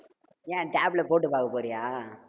ஏன் tab ல போட்டு பார்க்க போறியா